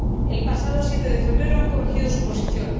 El pasado 7 de febrero corrigieron su posición.